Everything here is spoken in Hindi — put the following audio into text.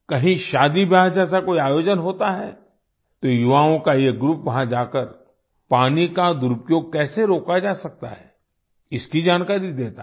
कहीं शादीब्याह जैसा कोई आयोजन होता है तो युवाओं का ये groupवहाँ जाकर पानी का दुरूपयोग कैसे रोका जा सकता है इसकी जानकारी देता है